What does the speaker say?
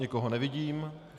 Nikoho nevidím.